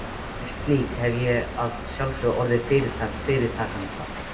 Sem slík hefði ég að sjálfsögðu orðið fyrirtak fyrirtakanna.